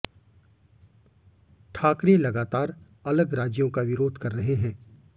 ठाकरे लगातार अलग राज्यों का विरोध कर रहे हैं